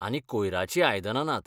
आनी कोयराचीं आयदनां नात.